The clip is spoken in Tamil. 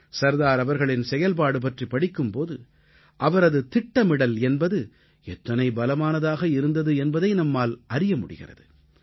சர்தார் அவர்களின் செயல்பாடு பற்றி படிக்கும் போது அவரது திட்டமிடல் என்பது எத்தனை பலமானதாக இருந்தது என்பதை நம்மால் அறிய முடிகிறது